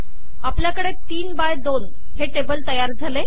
आपल्याकडे ३ बाय २ हे टेबल तयार झाले